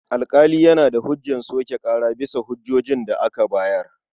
Alƙali yana da ikon soke ƙara bisa hujjojin da aka bayar.